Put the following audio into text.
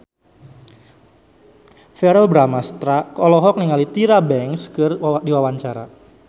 Verrell Bramastra olohok ningali Tyra Banks keur diwawancara